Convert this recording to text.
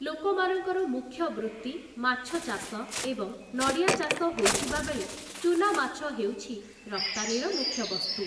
ଲୋକମାନଙ୍କର ମୁଖ୍ୟ ବୃତ୍ତି ମାଛଚାଷ ଏବଂ ନଡ଼ିଆ ଚାଷ ହୋଇଥିବାବେଳେ ଚୂନାମାଛ ହେଉଛି ରପ୍ତାନୀର ମୁଖ୍ୟ ବସ୍ତୁ ।